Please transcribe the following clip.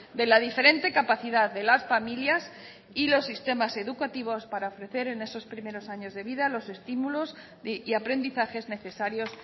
de la diferente capacidad de las familias y los sistemas educativos para ofrecer en esos primeros años de vida los estímulos y aprendizajes necesarios